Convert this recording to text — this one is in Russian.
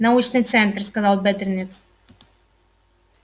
научный центр сказал бедренец